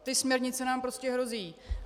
Ty směrnice nám prostě hrozí.